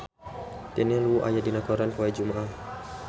Daniel Wu aya dina koran poe Jumaah